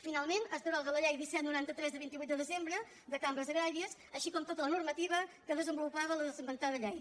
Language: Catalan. finalment es deroga la llei disset noranta tres de vint vuit de desembre de cambres agràries com també tota la normativa que desenvolupava l’esmentada llei